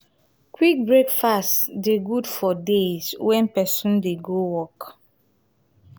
quick breakfast dey good for days wen pesin dey go work.